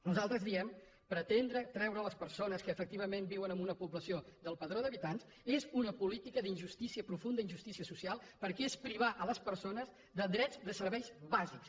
nosaltres diem pretendre treure les persones que efectivament viuen en una població del padró d’habitants és una política d’injustícia profunda injustícia social perquè és privar les persones de drets i de serveis bàsics